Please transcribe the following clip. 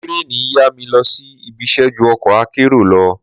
Tírèènì yá mi lọ sí ibiṣẹ́ ju ọkọ̀ akérò lọ.